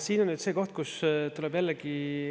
Siin on nüüd see koht, kus tuleb jällegi …